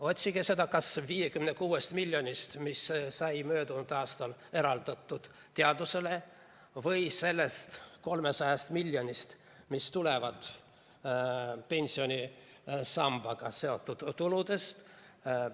Otsige seda kas või 56 miljonist, mis sai möödunud aastal eraldatud teadusele, või sellest 300 miljonist, mis tulevad pensionisambaga seotud tuludest.